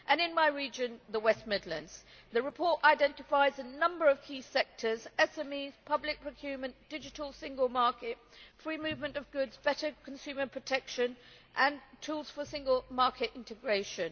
In my region, the West Midlands, the report identifies a number of key sectors SMEs, public procurement, digital single market, free movement of goods, better consumer protection and tools for single market integration.